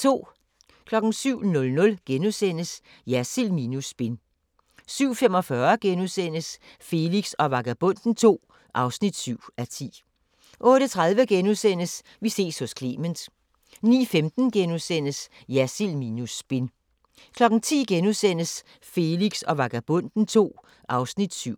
07:00: Jersild minus spin * 07:45: Felix og Vagabonden II (7:10)* 08:30: Vi ses hos Clement * 09:15: Jersild minus spin * 10:00: Felix og Vagabonden II (7:10)*